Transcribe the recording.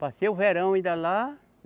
Passei o verão ainda lá.